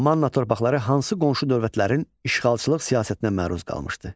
Manna torpaqları hansı qonşu dövlətlərin işğalçılıq siyasətinə məruz qalmışdı?